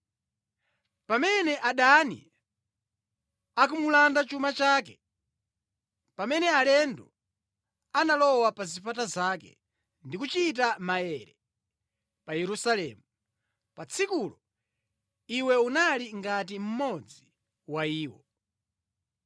Pamene adani ankamulanda chuma chake pamene alendo analowa pa zipata zake ndi kuchita maere pa Yerusalemu, pa tsikulo iwe unali ngati mmodzi wa iwo.